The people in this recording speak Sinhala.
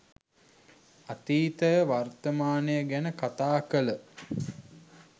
අතීතය වර්තමානය ගැන කතා කල